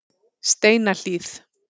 Steinahlíð